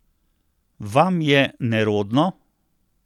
Vam je nerodno?